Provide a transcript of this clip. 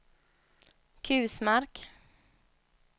Kusmark